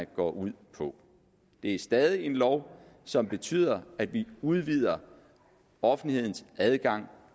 går ud på det er stadig en lov som betyder at vi udvider offentlighedens adgang